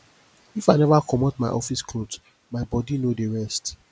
if i neva comot my office cloth my my bodi no dey rest